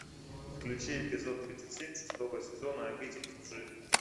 включи эпизод тридцать семь шестого сезона обитель лжи